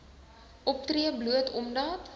optree bloot omdat